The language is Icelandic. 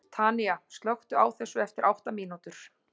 Tanía, slökktu á þessu eftir átta mínútur.